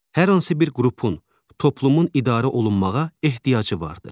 Hər hansı bir qrupun, toplumun idarə olunmağa ehtiyacı vardır.